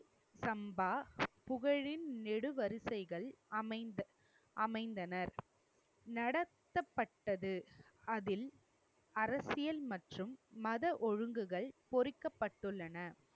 சம்பா புகழின் நெடு வரிசைகள் அமைந்த~ அமைந்தனர். நடத்தப்பட்டது அதில் அரசியல் மற்றும் மத ஒழுங்குகள் பொறிக்கப்பட்டுள்ளன.